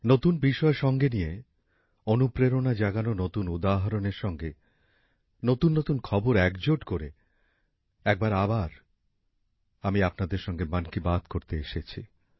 নতুন বিষয় সঙ্গে নিয়ে অনুপ্রেরণা জাগানো নতুন উদাহরণের সঙ্গে নতুননতুন খবর সংগ্রহ করে আরো এক বার আমি আপনাদের সঙ্গে মন কি বাত করতে এসেছি